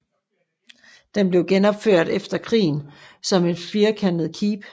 Den blev genopført efter krigen som et firkantet keep